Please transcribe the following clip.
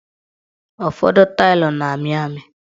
Ụfọdụ tailu na-amị amị